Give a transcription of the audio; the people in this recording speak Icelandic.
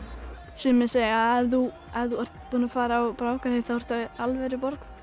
sumir segja að ef þú ert búin að fara á Brákarhátíð þá ertu alvöru